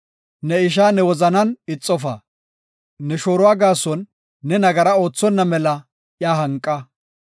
“Ne ishaa ne wozanan ixofa. Ne shooruwa gaason ne nagara oothonna mela iya hanqa.